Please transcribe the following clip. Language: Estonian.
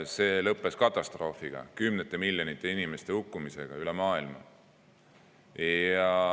See lõppes katastroofiga, kümnete miljonite inimeste hukkumisega üle maailma.